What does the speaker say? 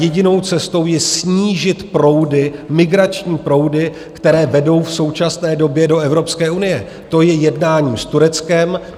Jedinou cestou je snížit proudy, migrační proudy, které vedou v současné době do Evropské unie, to je jednáním s Tureckem.